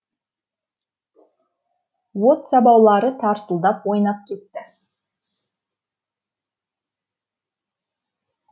от сабаулары тарсылдап ойнап кетті